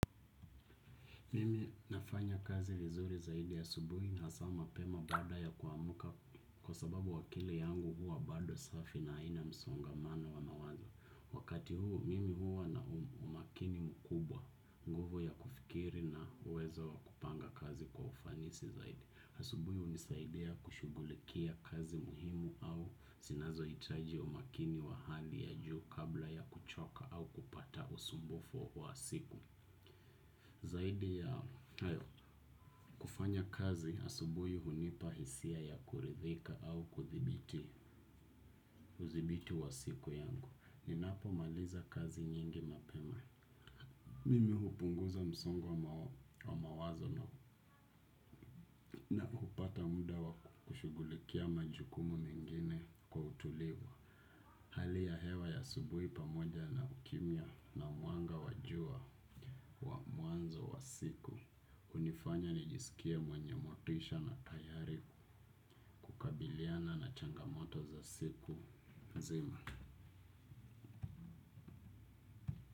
Mimi nafanya kazi vizuri zaidi asubuhi na hasaa mapema baada ya kuamka kwa sababu akili yangu huwa bado safi na haina msongamano wa mawazo. Wakati huu mimi huwa na umakini mkubwa nguvu ya kufikiri na uwezo wakupanga kazi kwa ufanisi zaidi. Asubuhi hunisaidea kushugulikia kazi muhimu au sinazo hitaji umakini wa hali ya juu kabla ya kuchoka au kupata usumbufu wa siku. Zaidi ya hayo kufanya kazi asubuhi hunipahisia ya kuridhika au kuthibiti. Uzibiti wa siku yangu. Ninapo maliza kazi nyingi mapema. Mimi hupunguza msongo wa mawazo na hupata muda wa kushugulikia majukumu mengine kwa utulivu. Hali ya hewa ya asubuhi pamoja na ukimia na mwanga wa jua wa muanzo wa siku. Hunifanya nijisikie mwenye motisha na tayari kukabiliana na changamoto za siku nzima.